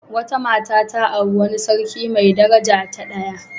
Wata mata ta auri wani sarki mai daraja ta daya.